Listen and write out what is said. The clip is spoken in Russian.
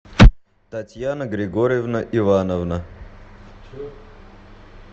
татьяна григорьевна ивановна